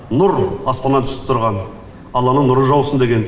нұр аспаннан түсіп тұрған алланың нұры жаусын деген